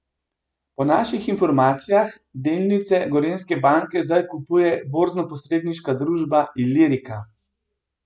Po naših informacijah delnice Gorenjske banke zdaj kupuje borznoposredniška družba Ilirika.